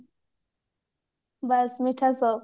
ବାସ ମିଠା shop